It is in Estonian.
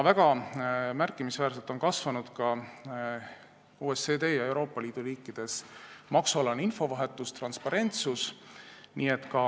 Märkimisväärselt on OECD ja Euroopa Liidu riikides kasvanud ka maksualane infovahetus ja transparentsus.